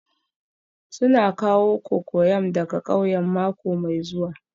Suna kawo cocoyam daga ƙauyen mako mai zuwa